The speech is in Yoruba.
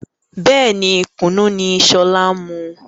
Bẹ́ẹ̀ni, Kùnú ni sọlá ń mu